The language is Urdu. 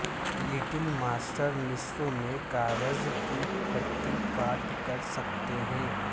لٹل ماسٹر نصف میں کاغذ کی پٹی کاٹ کر سکتے ہیں